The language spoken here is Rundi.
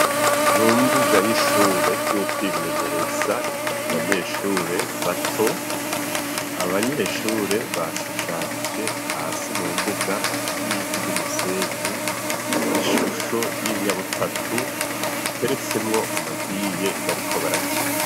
Mu mbuga y'ishure yukwimenyereza ku banyeshure bato abanyeshure bashushanije hasi mu mbuga y'ivu ry'umusenyi ishusho y'inyabutatu iteretsemwo amabiye bariko barakina.